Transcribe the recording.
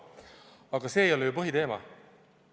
Aga see ei ole ju põhiteema.